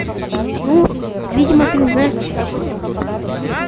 ну видимо ты не знаешь кто такой токсик